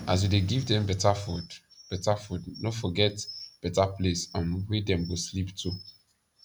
as u dey give dem beta food beta food no forget better place um wey dem go sleep too